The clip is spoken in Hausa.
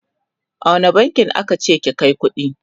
a wani bankin aka ce ki Kai kuɗi?